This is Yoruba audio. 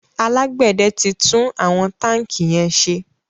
alágbède tí tún àwọn tanki yén ṣe